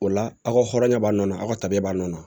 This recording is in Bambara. O la aw ka hɔrɔnya b'a nɔ na aw ka tabiya b'a nɔ na